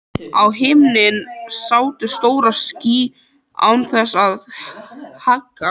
Á himni sátu stór ský án þess að haggast.